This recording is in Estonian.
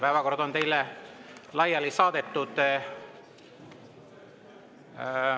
Päevakord on teile laiali saadetud.